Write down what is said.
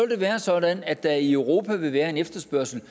det være sådan at der i europa vil være en efterspørgsel